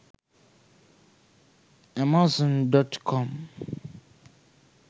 amazon.com